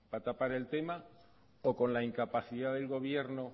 para tapar el tema o con la incapacidad del gobierno